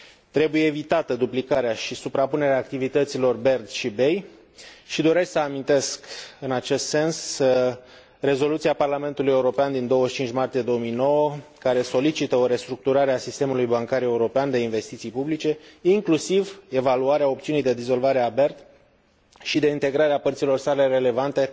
Trebuie evitate duplicarea și suprapunerea activităților BERD și BEI și doresc să amintesc, în acest sens, Rezoluția Parlamentului European din 25 martie 2009, care solicită o restructurare a sistemului bancar european de investiții publice, inclusiv evaluarea opțiunii de dizolvare a BERD și de integrare a părților sale relevante